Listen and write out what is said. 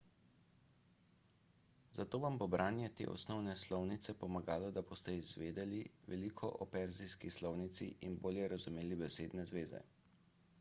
zato vam bo branje te osnovne slovnice pomagalo da boste izvedeli veliko o perzijski slovnici in bolje razumeli besedne zveze